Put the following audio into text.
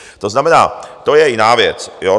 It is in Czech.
To znamená, to je jiná věc.